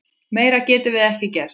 Meira getum við ekki gert.